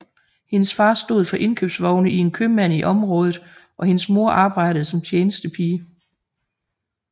Hendes far stod for indkøbsvogne i en købmand i området og hendes mor arbejdede som tjenestepige